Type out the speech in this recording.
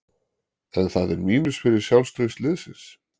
Er það mínus fyrir sjálfstraust liðsins?